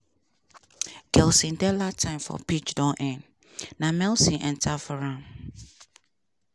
gelson dala time for pitch don end na milson enta for am.